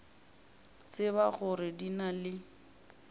tseba gore di na le